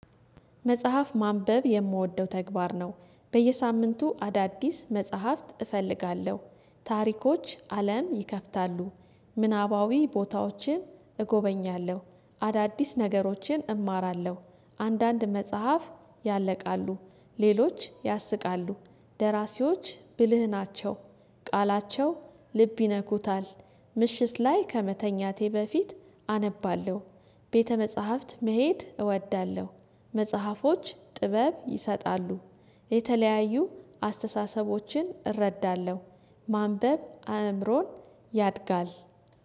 መጽሐፍ ማንበብ የምወደው ተግባር ነው በየሳምንቱ አዳዲስ መጽሐፍት እፈልጋለሁ ታሪኮች አለም ይከፍታሉ። ምናባዊ ቦታዎችን እጎበኛለሁ። አዳዲስ ነገሮችን እማራለሁ። አንዳንድ መጽሐፍ ያለቃሉ። ሌሎች ያስቃሉ። ደራሲዎች ብልህ ናቸው። ቃላቸው ልብ ይነኩታል። ምሽት ላይ ከመተኛቴ በፊት አነባለሁ። ቤተ መጽሐፍት መሄድ እወዳለሁ። መጽሐፎች ጥበብ ይሰጣሉ። የተለያዩ አስተሳሰቦችን እረዳለሁ። ማንበብ አእምሮን ያድጋል